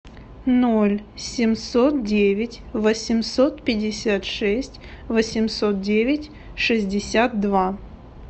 ноль семьсот девять восемьсот пятьдесят шесть восемьсот девять шестьдесят два